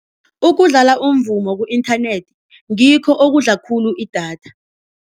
Ukudlala umvumo ku-internet ngikho okudla khulu idatha.